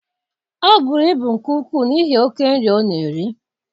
Ọ bụrụ ibu nke ukwuu n'ihi oke nri ọ na-eri.